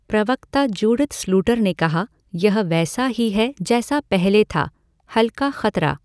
प्रवक्ता Judith Sluiter ने कहा यह वैसा ही है जैसा पहले था, हल्का खतरा।